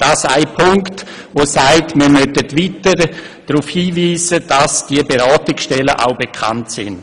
Das zeigt, dass wir weiter darauf hinweisen müssen, damit die Beratungsstellen auch bekannt werden.